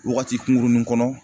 Wagati kunkurunin kɔnɔ.